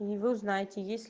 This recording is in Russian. не узнает